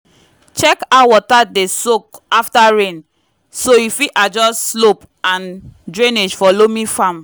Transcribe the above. check how water dey soak after rain so you fit adjust slope and drainage for loamy farm